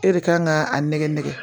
E de kan ka a nɛgɛ nɛgɛ